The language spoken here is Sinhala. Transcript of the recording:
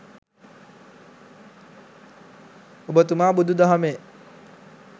ඔබතුමා බුදු දහමේ